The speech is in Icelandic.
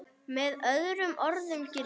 Með öðrum orðum gildir